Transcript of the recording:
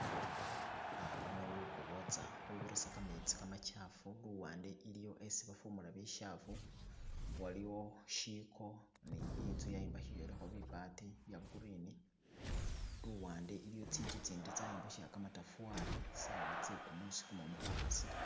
Ah luno lukobotsa lubirisa kametsi kamachafu luwande iliyo isi bafumula bichafu, waliwo ishiko ne inzu yayombekhibwilakho bibaati bye green luwande iliyo tsinzu tsindi tsayombekhebwela kamatafali sawa tse kumusi kumumu kwa khasile.